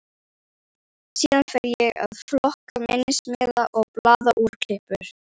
Síðan fer ég að flokka minnismiða og blaðaúrklippur.